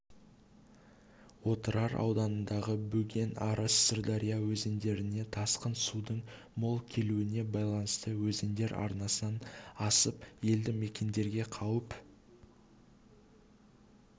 отырар ауданындағы бөген арыс сырдария өзендеріне тасқын судын мол келуіне байланысты өзендер арнасынан асып елді-мекендерге қауіп